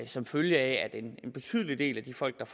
som følge af at en betydelig del af de folk